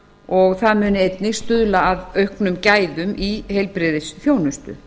og það muni einnig stuðla að auknum gæðum í heilbrigðisþjónustu